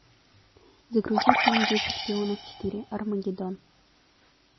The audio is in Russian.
загрузи фильм дети шпионов четыре армагедон